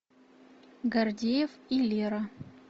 гордеев и лера